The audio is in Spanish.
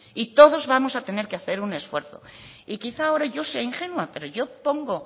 y todos vamos a tener que hacer un esfuerzo y quizás ahora yo sea ingenua pero yo pongo